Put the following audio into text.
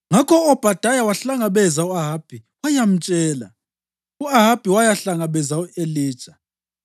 Ngakho u-Obhadaya wahlangabeza u-Ahabi wayamtshela, u-Ahabi wayahlangabeza u-Elija.